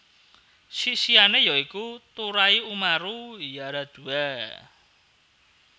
Sisihane ya iku Turai Umaru Yaradua